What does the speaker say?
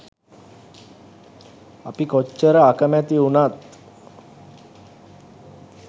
අපි කොච්චර අකමැති වුණත්